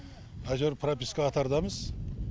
әйтеуір прописка қатардамыз